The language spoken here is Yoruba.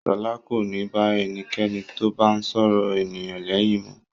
Ṣọlá kò ní bá ẹnikẹ́ni tó bá ń sọ̀rọ̀ ènìyàn lẹ́yìn mọ́.